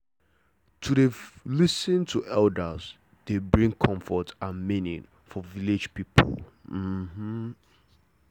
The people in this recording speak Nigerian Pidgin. to dey lis ten to elders dey bring comfort and meaning for village people um